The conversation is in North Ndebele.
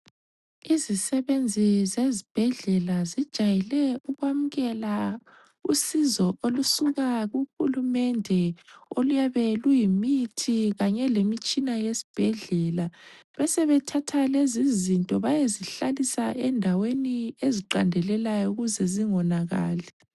Izisebenzi zezibhedlela zijayele ukwamukela usizo olusuka kuhulumende, oluyabe luyimithi kanye lemitshina yesibhedlela. Besebethatha lezizinto bayezihlalisa endaweni eziqandelelayo ukuze zingonakali.